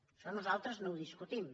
això nosaltres no ho discutim